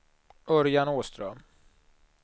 Örjan Åström